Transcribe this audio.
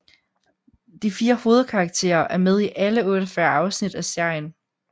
De 4 hovedkarakterer er med i alle 48 afsnit af serien